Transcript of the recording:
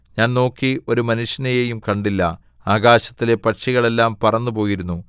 ഞാൻ നോക്കി ഒരു മനുഷ്യനെയും കണ്ടില്ല ആകാശത്തിലെ പക്ഷികൾ എല്ലാം പറന്നു പോയിരുന്നു